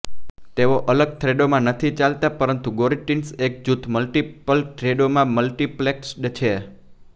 તેઓ અલગ થ્રેડોમાં નથી ચાલતા પરંતુ ગોરુટિન્સ એક જૂથ મલ્ટીપલ થ્રેડો માં મલ્ટિપ્લેક્સ્ડ છે